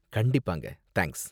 கண்டிப்பாங்க, தேங்க்ஸ்.